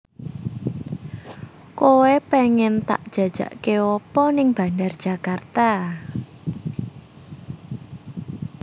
Koe pengen tak jajake opo ning Bandar Djakarta?